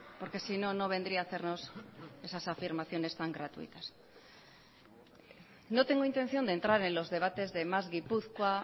porque sino no vendría a hacernos esas afirmaciones tan gratuitas no tengo intención de entrar en los debates de más gipuzkoa